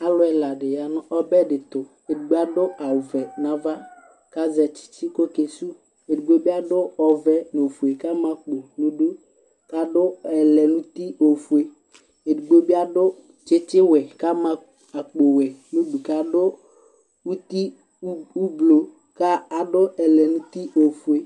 Alʋ ɛla dɩya nʋ ɔbɛ dɩ ɛtʋ Edigbo adʋ awʋvɛ nʋ ava, kʋ azɛ tsɩtsɩ kʋ oke sʋwʋ Edigbo bɩ adʋ ɔvɛ nʋ ofue, kʋ ama akpo nʋ idu, kʋ adʋ ɛlɛnuti ofue Edigbo bɩ adʋ tsɩtsɩwɛ, kʋ ama akpowɛ nʋ idu, kʋ adʋ uti ʋblʋ, kʋ adʋ ɛlɛniti ofue